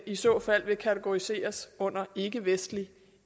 i så fald kategoriseres under ikkevestlig